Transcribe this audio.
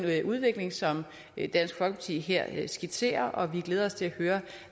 udvikling som dansk folkeparti her skitserer og vi glæder os til at høre